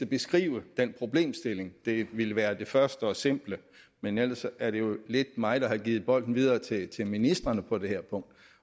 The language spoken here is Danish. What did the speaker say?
beskrive den problemstilling det ville være det første og simple men ellers er det jo lidt mig der har givet bolden videre til ministrene på det her punkt